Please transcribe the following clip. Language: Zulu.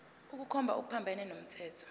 ukukhomba okuphambene nomthetho